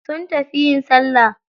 Sun tafi yin salla.